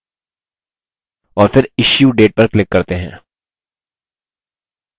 और फिर issue date पर click करते हैं